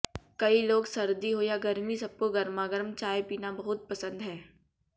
कई लोग सर्दी हो या गर्मी सबको गर्मागर्म चाय पीना बहुत पसंद है